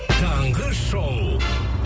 таңғы шоу